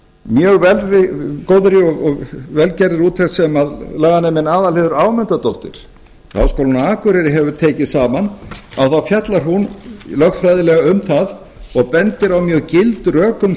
mjög góðri og vel gerðri úttekt sem laganeminn aðalheiður ámundadóttir við háskólann á akureyri hefur tekið saman að þá fjallar um lögfræðilega um það og bendir á mjög gild rök um